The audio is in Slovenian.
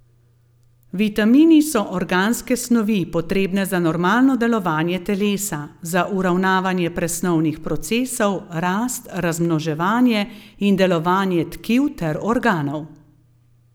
Vitamini so organske snovi, potrebne za normalno delovanje telesa, za uravnavanje presnovnih procesov, rast, razmnoževanje in delovanje tkiv ter organov.